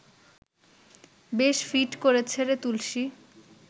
বেশ ফিট করেছে রে তুলসী